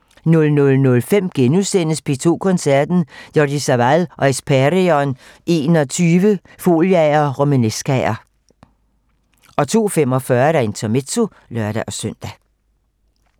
00:05: P2 Koncerten - Jordi Savall og Hespèrion XXI - Foliaer & Romanescaer * 02:45: Intermezzo (lør-søn)